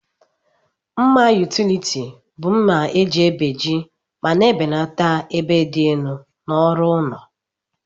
Mma utiliti bu mma eji ebeji ma na ebelata ebe di elu na ọrụ ụlọ.